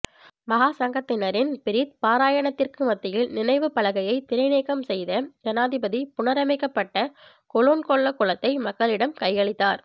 மகாசங்கத்தினரின் பிரித் பாராயணத்திற்கு மத்தியில் நினைவுப்பலகையை திரைநீக்கம் செய்த ஜனாதிபதி புனரமைக்கப்பட்ட கொலொன்கொல்ல குளத்தை மக்களிடம் கையளித்தார்